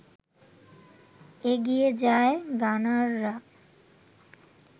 এগিয়ে যায় গানাররা